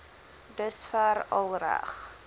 dusver al reg